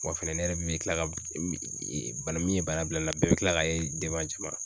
Wa fɛnɛ ne yɛrɛ min bɛ kila ka bana min ye bana bila ne la bɛɛ bɛ kila k'a ye jama